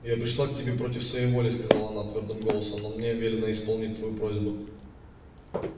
я пришла к тебе против своей воли сказала она твёрдым голосом но мне велено исполнить твою просьбу